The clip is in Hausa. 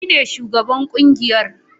Ni ne shugaban kungiyar